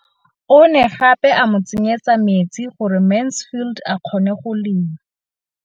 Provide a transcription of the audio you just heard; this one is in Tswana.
O ne gape a mo tsenyetsa metsi gore Mansfield a kgone go lema.